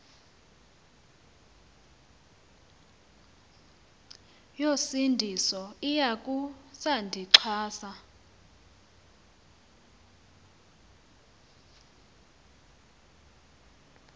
yosindiso iwakho sandixhasa